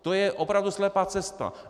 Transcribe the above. To je opravdu slepá cesta.